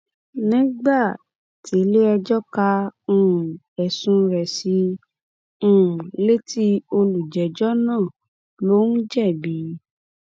nígbà tiléẹjọ ka um ẹsùn rẹ sí i um létí olùjẹjọ náà lóúnn jẹbi